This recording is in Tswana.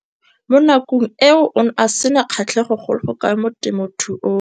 Mo nakong eo o ne a sena kgatlhego go le kalo mo temothuong.